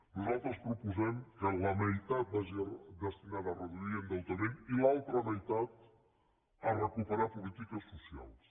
nosaltres proposem que la meitat vagi destinada a reduir endeutament i l’altra meitat a recuperar polítiques socials